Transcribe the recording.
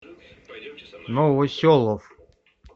новоселов